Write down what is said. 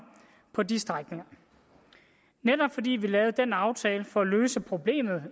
på de strækninger netop fordi vi lavede den aftale for at løse problemerne